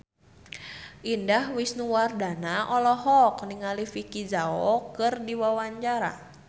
Indah Wisnuwardana olohok ningali Vicki Zao keur diwawancara